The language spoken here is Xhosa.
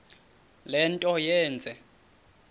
le nto yenze